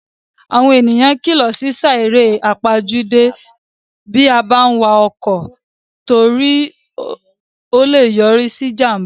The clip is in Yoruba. Àwọn èèyàn kílọ̀ sí sá eré àpaójúdé bí a bá n wa ọkọ̀ torí o lè yọrí sí ìjàmbá ọkọ̀